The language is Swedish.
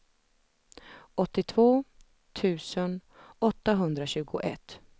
åttiotvå tusen åttahundratjugoett